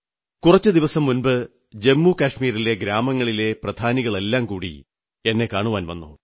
കുറച്ചു ദിവസം മുമ്പ് ജമ്മുകശ്മീരിലെ ഗ്രാമങ്ങളിലെ പ്രധാനികളെല്ലാം കൂടി കാണാൻ വന്നു